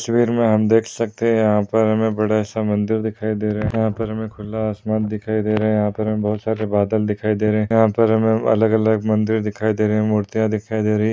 इस तस्वीर में हम देख सकते है यहाँ पर बड़ा समन्दर दिखाई दे रहा है यहाँ पर हमें खुला आसमान दिखाई दे रहा है यहाँ पर हमें बहुत सारा बादल दिखाई दे रहा है यहाँ पर हमें अलग-अलग मन्दिर दिखाई दे रहे है मूर्तिया दिखाई दे रही है।